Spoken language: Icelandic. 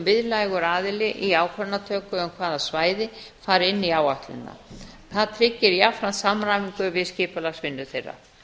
miðlægur aðili í ákvörðunartöku um hvaða svæði fari inn í áætlunina það tryggir jafnframt samræmingu við skipulagsvinnu þeirra